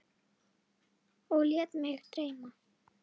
Og lét mig dreyma.